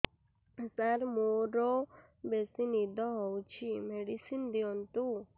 ସାର ମୋରୋ ବେସି ନିଦ ହଉଚି ମେଡିସିନ ଦିଅନ୍ତୁ